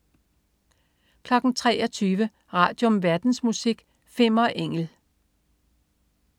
23.00 Radium. Verdensmusik. Fimmer Engel